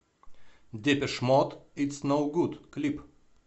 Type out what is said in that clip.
депеш мод итс ноу гуд клип